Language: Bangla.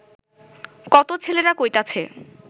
কত ছেলেরা কইতাছে